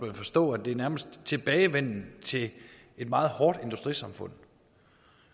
jo forstå at det nærmest tilbagevenden til et meget hårdt industrisamfund